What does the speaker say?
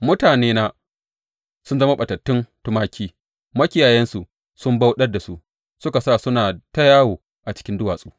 Mutanena sun zama ɓatattun tumaki; makiyayansu sun bauɗar da su suka sa suna ta yawo a cikin duwatsu.